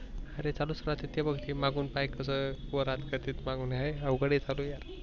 अरे चालूच राहते ते बग मागून काय कर वर हात करते मागून हे अवगड चालू यार.